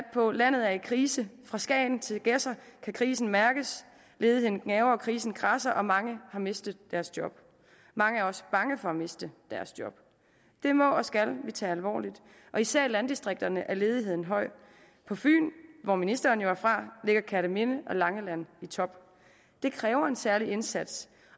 på landet er i krise fra skagen til gedser kan krisen mærkes ledigheden gnaver og krisen kradser og mange har mistet deres job mange er også bange for at miste deres job det må og skal vi tage alvorligt og især i landdistrikterne er ledigheden høj på fyn hvor ministeren jo er fra ligger kerteminde og langeland i top det kræver en særlig indsats